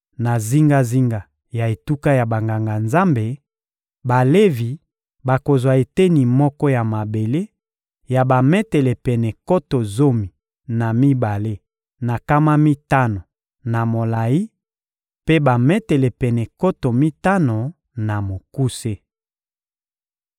Na zingazinga ya etuka ya Banganga-Nzambe, Balevi bakozwa eteni moko ya mabele ya bametele pene nkoto zomi na mibale na nkama mitano na molayi mpe bametele pene nkoto mitano na mokuse.